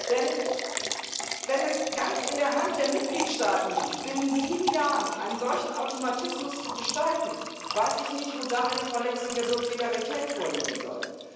Denn wenn es ganz in der Hand der Mitgliedstaaten liegt, binnen sieben Jahren einen solchen Automatismus zu gestalten, weiß ich nicht, wo da eine Verletzung der Subsidiarität vorliegen soll.